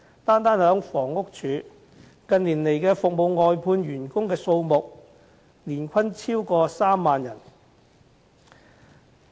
單是房屋署，近年服務外判員工的數目年均便超過3萬人。